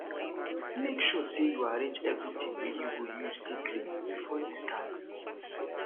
mek sure sey yu arrange evritin wey yu go use take clean bifor yu start